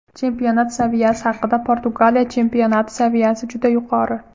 Chempionat saviyasi haqida Portugaliya chempionati saviyasi juda yuqori.